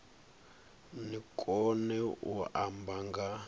ni kone u amba nga